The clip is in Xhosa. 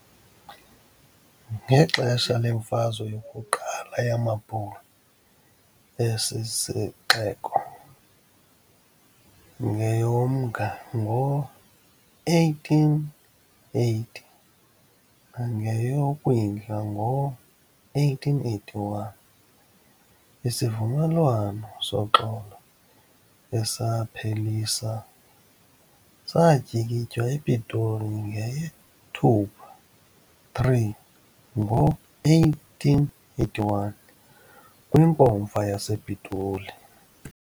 Ngexesha leMfazwe yokuQala yamaBhulu, esi sixeko ] ngeyoMnga ngo-1880 nangeyoKwindla ngo1881. Isivumelwano soxolo esaphelisa ] satyikitywa ePitoli ngeyeThupha 3, ngo1881 kwinkomfa yasePitoli.